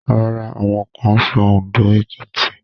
Rárá, àwọn kan ń sọ Òndó, Èkìtì